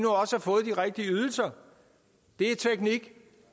rigtige ydelser det er teknik